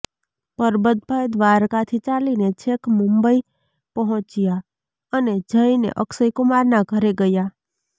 પરબત ભાઈ દ્વારકાથી ચાલીને છેક મુંબઈ પહોંચ્યા અને જઈને અક્ષય કુમારનાં ઘરે ગયા